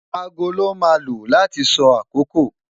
Aago lon ma lo lati so akoko